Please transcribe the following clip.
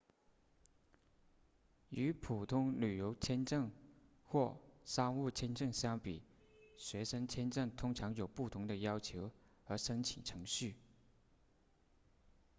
与普通旅游签证或商务签证相比学生签证通常有不同的要求和申请程序